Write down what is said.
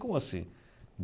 Como assim?